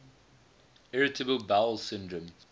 irritable bowel syndrome